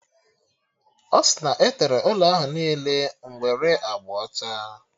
Ọ si na e tere ụlọ ahụ niile nwere agba ọcha